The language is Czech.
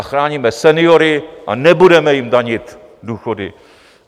A chráníme seniory a nebudeme jim danit důchody.